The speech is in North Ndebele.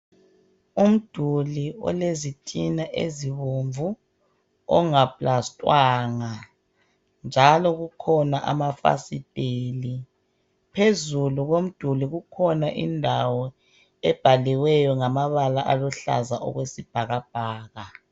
Umduli olezitina ezibomvu ongaplastwanga njalo kukhona amafasitheli phezulu komduli kukhona indawo ebhaliweyo ngamabala aluhlaza okwesibhakabhaka.